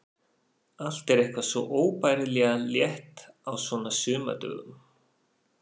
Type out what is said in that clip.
Allt er eitthvað svo óbærilega létt á svona sumardögum.